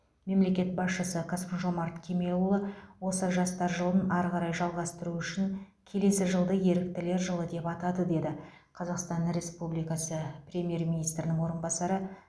мемлекет басшысы қасым жомарт кемелұлы осы жастар жылын ары қарай жалғастыру үшін келесі жылды еріктілер жылы деп атады деді қазақстан республикасы премьер министрінің орынбасары